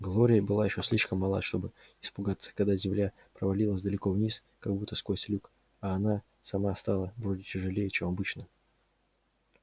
глория была ещё слишком мала чтобы испугаться когда земля провалилась далеко вниз как будто сквозь люк а она сама стала вроде тяжелее чем обычно